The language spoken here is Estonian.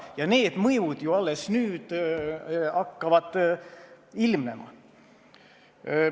Ja need mõjud ju alles nüüd hakkavad ilmnema.